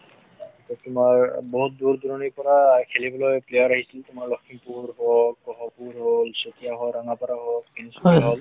তোমাৰ বহুত দূৰ দূৰনীৰ পৰা খেলিবলৈ player আহিছিলে, তোমাৰ লখিমপূৰ হওঁক গহপুৰ হ'ল চতিয়া হ'ল ৰঙাপাৰা হ'ল তিনচুকিয়া হ'ল